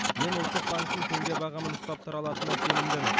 мен ұлттық банктің теңге бағамын ұстап тұра алатынына сенімдімін